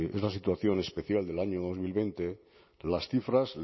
es la situación especial del año dos mil veinte las cifras